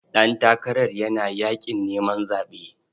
Ɗantakara yana yaƙin neman zaɓe.